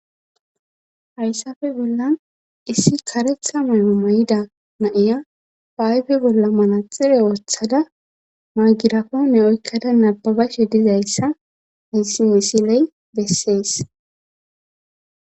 hHyssafe bollan issi karetha mayo may7ida naiya paayfe bolla mala xire ooththada maagirako ne oykkada nababashe dizayssa hayssi misiley bessees.